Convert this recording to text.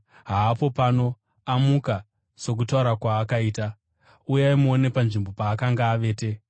Haapo pano; amuka sokutaura kwaakaita. Uyai muone panzvimbo paakanga avete.